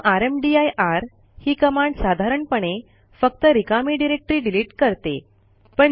परंतु रामदीर ही कमांड साधारणपणे फक्त रिकामी डिरेक्टरी डिलिट करते